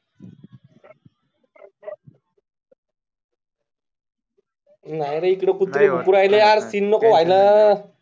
नाही रे इकडे खूप